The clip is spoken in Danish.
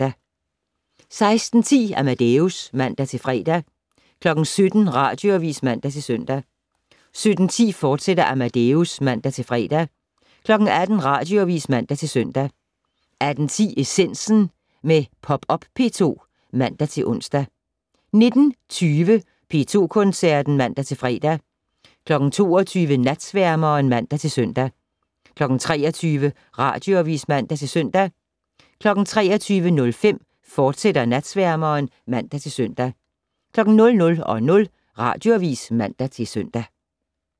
16:10: Amadeus (man-fre) 17:00: Radioavis (man-søn) 17:10: Amadeus, fortsat (man-fre) 18:00: Radioavis (man-søn) 18:10: Essensen - med Popup P2 (man-ons) 19:20: P2 Koncerten (man-fre) 22:00: Natsværmeren (man-søn) 23:00: Radioavis (man-søn) 23:05: Natsværmeren, fortsat (man-søn) 00:00: Radioavis (man-søn)